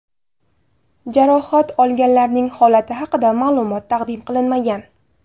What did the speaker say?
Jarohat olganlarning holati haqida ma’lumot taqdim qilinmagan.